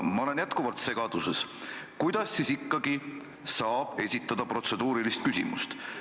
Ma olen jätkuvalt segaduses, kuidas siis ikkagi saab esitada protseduurilist küsimust.